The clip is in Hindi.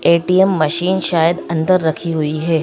ए_टी_एम मशीन शायद अंदर रखी हुई है।